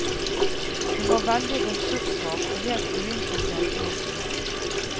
Hun var bare veldig ressurssvak og helt uinteressert i oss.